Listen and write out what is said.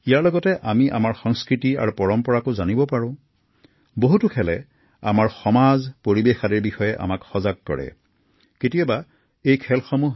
ইয়াৰ জৰিয়তে আমি আমাৰ সংস্কৃতি আৰু পৰম্পৰাক জনাৰো সুযোগ পাও